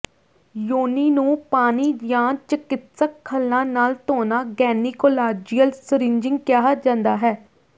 ਯੋਨੀ ਨੂੰ ਪਾਣੀ ਜਾਂ ਚਿਕਿਤਸਕ ਹੱਲਾਂ ਨਾਲ ਧੋਣਾ ਗੈਨੀਕੋਲਾਜੀਅਲ ਸਰਿੰਜਿੰਗ ਕਿਹਾ ਜਾਂਦਾ ਹੈ